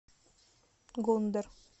гондэр